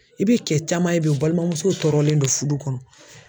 I bɛ kɛ caman ye bi o balimamusow tɔɔrolen don furu kɔnɔ.